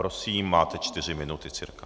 Prosím, máte čtyři minuty, cca.